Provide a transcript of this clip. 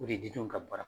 O de di ka baara